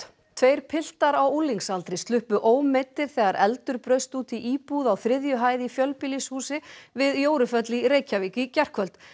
tveir piltar á unglingsaldri sluppu ómeiddir þegar eldur braust út í íbúð á þriðju hæð í fjölbýlishúsi við í Reykjavík í gærkvöld